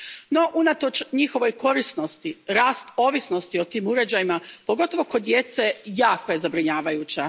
No, unatoč njihovoj korisnosti, rast ovisnosti o tim uređajima, pogotovo kod djece, jako je zabrinjavajuća.